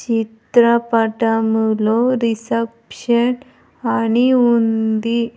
చిత్రపటములో రిసెప్షన్ అని ఉంది.